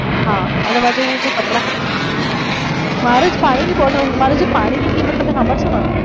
હા અને મારી જોડે જે કપડાં મારે જ જે પાણી ની બોટલ મારી જે પાણી ની કિંમત તમે સાંભળશો ને.